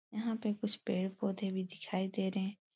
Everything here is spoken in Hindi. यहाँ पे कुछ पेड़ पौधे भी दिखाई दे रहे हैं।